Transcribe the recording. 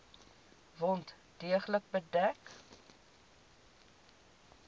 wond deeglik bedek